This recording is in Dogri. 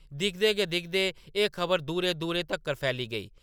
दिखदे गै दिखदे एह्‌‌ खबर दूरै-दूरै तक्कर फैली गेई ।